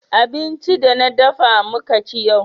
abinci da na dafa muka ci yau